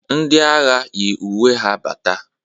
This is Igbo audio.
Ndị agha yiri uwe ha bata.